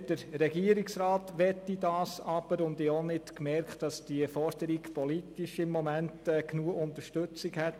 Aber das möchte der Regierungsrat nicht, und ich habe auch nicht festgestellt, dass diese Forderung gegenwärtig politisch genügend Unterstützung hätte.